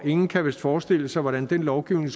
ingen kan vist forestille sig hvordan den lovgivning